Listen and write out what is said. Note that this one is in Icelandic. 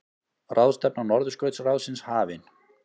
Ráðstefna Norðurskautsráðsins hafin